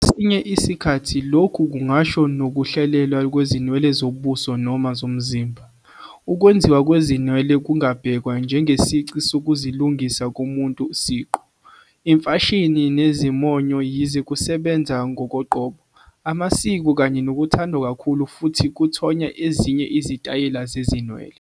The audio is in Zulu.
Kwesinye isikhathi, lokhu kungasho nokuhlelwa kwezinwele zobuso noma zomzimba. Ukwenziwa kwezinwele kungabhekwa njengesici sokuzilungisa komuntu siqu, imfashini, nezimonyo, yize kusebenza ngokoqobo, amasiko kanye nokuthandwa kakhulu futhi kuthonya ezinye izitayela zezinwele.